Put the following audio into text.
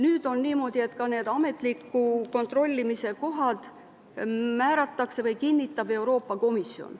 Nüüd on niimoodi, et ka need ametliku kontrollimise kohad kinnitab Euroopa Komisjon.